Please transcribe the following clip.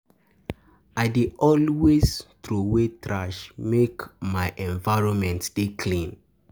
I dey always I dey always troway trash, make my um environment um dey clean.